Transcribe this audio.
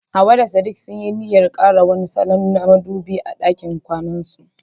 Hawwa da sadik sunyi niyyar kara wani salo na madubi a ɗakin kwanansu..